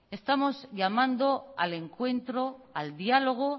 estamos llamando al encuentro al diálogo